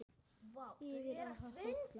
Yfir ár og hóla.